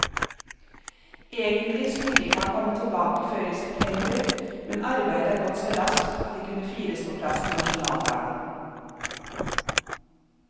Egentlig skulle de ikke kommet tilbake før i september, men arbeidet er gått så raskt at de kunne fires på plass til nasjonaldagen.